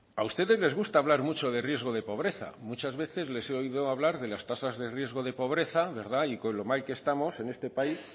a ustedes les gusta hablar mucho de riesgo de pobreza muchas veces les he oído hablar de las tasas de riesgo de pobreza y con lo mal que estamos en este país